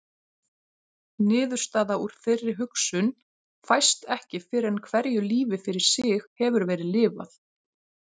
Niðurstaða úr þeirri hugsun fæst ekki fyrr en hverju lífi fyrir sig hefur verið lifað.